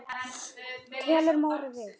Tekur Móri við?